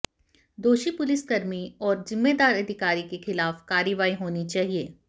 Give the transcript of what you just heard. दोषी पुलिसकर्मी और जिम्मेदार अधिकारी के खिलाफ कार्रवाई होनी चाहिए